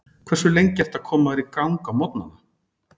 Hversu lengi ertu að koma þér í gang á morgnanna?